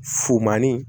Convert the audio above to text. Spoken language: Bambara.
Fumanin